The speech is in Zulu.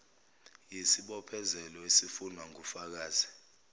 yisibophezelo esifunwa ngufakazi